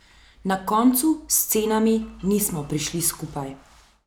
Na koncu s cenami nismo prišli skupaj.